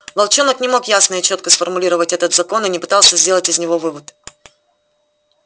волчонок не мог ясно и чётко сформулировать этот закон и не пытался сделать из него вывод